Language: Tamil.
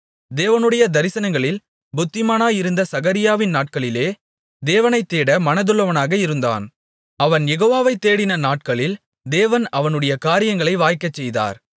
தேவனுடைய தரிசனங்களில் புத்திமானாயிருந்த சகரியாவின் நாட்களிலே தேவனைத் தேட மனதுள்ளவனாக இருந்தான் அவன் யெகோவாவை தேடின நாட்களில் தேவன் அவனுடைய காரியங்களை வாய்க்கச் செய்தார்